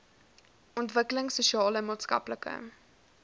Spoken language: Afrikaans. ontwikkelings sosiale maatskaplike